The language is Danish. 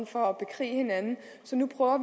for at bekrige hinanden så nu prøver